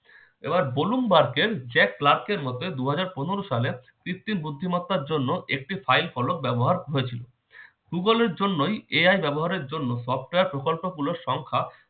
এবার ব্লুমবার্গের জ্যাক ক্লার্কের মধ্যে দুহাজার পনেরো সালে কৃত্রিম বুদ্ধিমত্তার জন্য একটি file ফলক ব্যবহার হয়েছিল। google এর জন্যই AI ব্যবহারের জন্য software প্রকল্পমূলক সংখ্যা